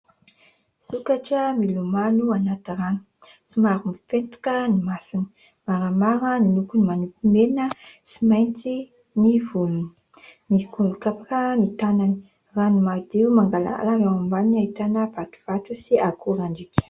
Sokatra milomano anaty rano. Somary miketoka ny masony, maramara ny lokony manopy mena sy mainty ny vonony, mikopakopaka ny tanany. Rano madio mangarahara eo ambaniny ahitana vatovato sy akorandriaka.